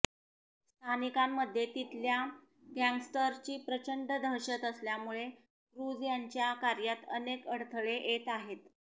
स्थानिकांमध्ये तिथल्या गँगस्टर्सची प्रचंड दहशत असल्यामुळे क्रुझ यांच्या कार्यात अनेक अडथळे येत आहेत